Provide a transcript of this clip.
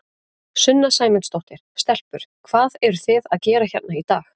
Sunna Sæmundsdóttir: Stelpur, hvað eruð þið að gera hérna í dag?